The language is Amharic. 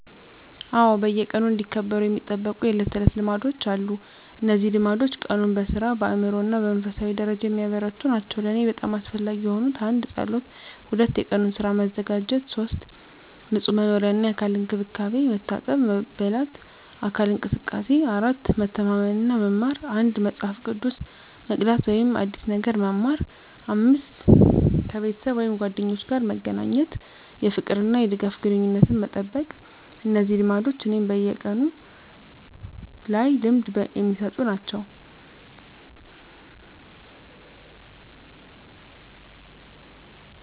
አዎ፣ በየቀኑ እንዲከበሩ የሚጠበቁ የዕለት ተዕለት ልማዶች አሉ። እነዚህ ልማዶች ቀኑን በሥራ፣ በአእምሮ እና በመንፈሳዊ ደረጃ የሚያበረታቱ ናቸው። ለእኔ በጣም አስፈላጊ የሆኑት: 1. ጸሎት 2. የቀኑን ሥራ መዘጋጀት 3. ንጹህ መኖሪያ እና የአካል እንክብካቤ፣ መታጠብ፣ መበላት፣ አካል እንቅስቃሴ። 4. መተማመን እና መማር፣ አንድ መጽሐፍ መቅዳት ወይም አዲስ ነገር መማር። 5. ከቤተሰብ ወይም ጓደኞች ጋር መገናኘት፣ የፍቅር እና የድጋፍ ግንኙነትን መጠበቅ። እነዚህ ልማዶች እኔን በቀኑ ላይ ልምድ የሚሰጡ ናቸው።